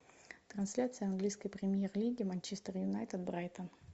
трансляция английской премьер лиги манчестер юнайтед брайтон